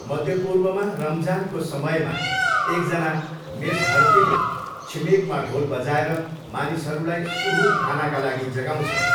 मध्यपूर्वमा रमजानको समयमा एकजना मेसहरतीले छिमेकमा ढोल बजाएर मानिसहरूलाई सुहुर खानाका लागि जगाउँछन्।